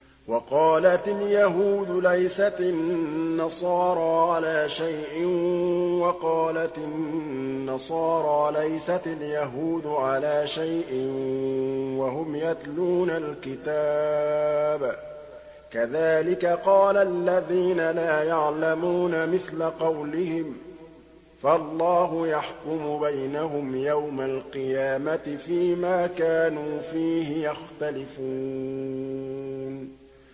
وَقَالَتِ الْيَهُودُ لَيْسَتِ النَّصَارَىٰ عَلَىٰ شَيْءٍ وَقَالَتِ النَّصَارَىٰ لَيْسَتِ الْيَهُودُ عَلَىٰ شَيْءٍ وَهُمْ يَتْلُونَ الْكِتَابَ ۗ كَذَٰلِكَ قَالَ الَّذِينَ لَا يَعْلَمُونَ مِثْلَ قَوْلِهِمْ ۚ فَاللَّهُ يَحْكُمُ بَيْنَهُمْ يَوْمَ الْقِيَامَةِ فِيمَا كَانُوا فِيهِ يَخْتَلِفُونَ